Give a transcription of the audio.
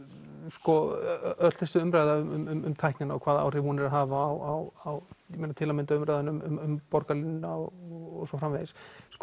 sko öll þessi umræða um tæknina og hvaða áhrif hún er að hafa á til að mynda umræðuna um borgarlínuna og svo framvegis